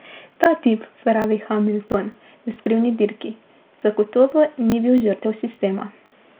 Ta tip, pravi Hamilton v Skrivni dirki, zagotovo ni bil žrtev sistema.